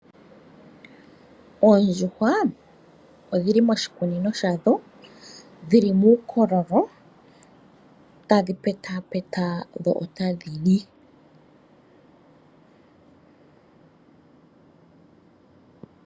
Oondjuhwa odhili moshikunino sha dho. odhi li muukololo tadhi petapeta dho otadhi li iikulya.